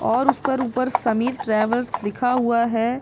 और उस पर ऊपर समीर ट्रैवर्स लिखा हुआ है।